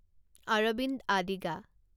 Arvind Adiga